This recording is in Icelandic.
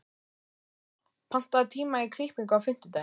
Hilma, pantaðu tíma í klippingu á fimmtudaginn.